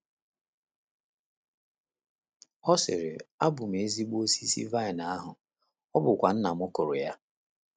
Ọ sịrị: “ Abụ m ezi osisi vaịn ahụ, ọ bụkwa Nna m kụrụ ya. ”